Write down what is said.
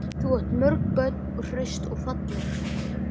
Þú átt mörg börn, hraust og falleg.